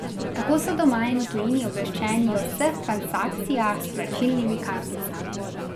Tako so doma in v tujini obveščeni o vseh transakcijah s plačilnimi karticami.